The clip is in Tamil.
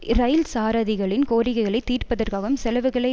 இரயில் சாரதிகளின் கோரிக்கைகளை தீர்ப்பதற்காகும் செலவுகளை